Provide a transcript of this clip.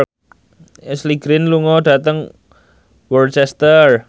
Ashley Greene lunga dhateng Worcester